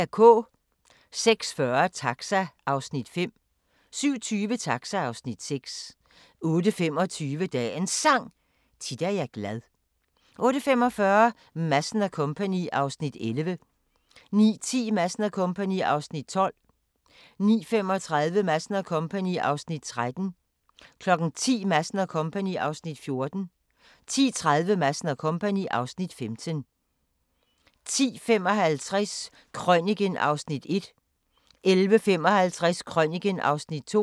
06:40: Taxa (Afs. 5) 07:20: Taxa (Afs. 6) 08:25: Dagens Sang: Tit er jeg glad 08:45: Madsen & Co. (Afs. 11) 09:10: Madsen & Co. (Afs. 12) 09:35: Madsen & Co. (Afs. 13) 10:00: Madsen & Co. (Afs. 14) 10:30: Madsen & Co. (Afs. 15) 10:55: Krøniken (Afs. 1) 11:55: Krøniken (Afs. 2)